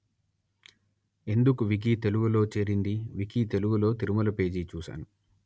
ఎందుకు వికీ తెలుగు లో చేరింది వికీ తెలుగు లో తిరుమల పేజి చూసాను